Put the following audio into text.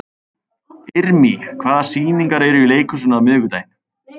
Irmý, hvaða sýningar eru í leikhúsinu á miðvikudaginn?